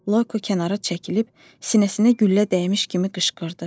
Loyko kənara çəkilib sinəsinə güllə dəymiş kimi qışqırdı.